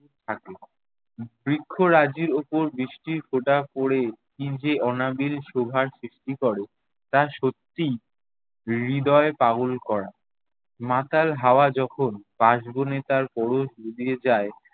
বৃক্ষরাজির ওপর বৃষ্টির ফোঁটা পড়ে কী যে অনাবিল শোভার সৃষ্টি করে তা সত্যিই হৃদয় পাগল করা। মাতাল হাওয়া যখন কাশবনে তার পরশ বুলিয়ে যায়